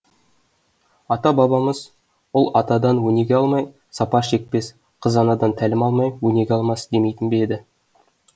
ата бабамыз ұл атадан өнеге алмай сапар шекпес қыз анадан тәлім алмай өнеге алмас демейтін бе еді